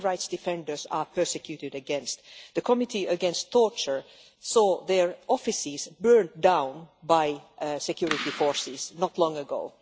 Human rights defenders are persecuted against, and the Committee Against Torture saw their offices burnt down by security forces not long ago.